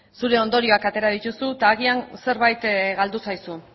zure ondorioak atera dituzu eta agian zerbait galdu zaizu